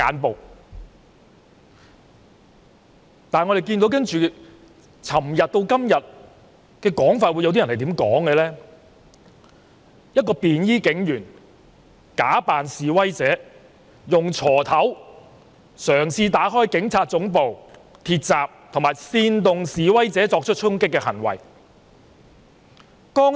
然而，由昨天到今天，有些人竟然說一位便衣警員假扮示威者，用鋤頭嘗試打開警察總部的鐵閘，以及煽動示威者作出衝擊的行為。